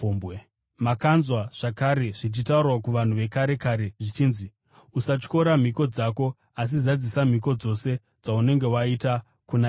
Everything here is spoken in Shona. “Makanzwa zvakare zvichitaurwa kuvanhu vekare kare zvichinzi, ‘Usatyora mhiko dzako, asi zadzisa mhiko dzose dzaunenge waita kuna Ishe.’